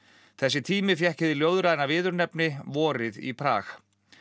þessi tími fékk hið ljóðræna viðurnefni vorið í Prag